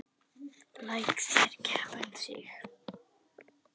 Lét þær keppa um sig.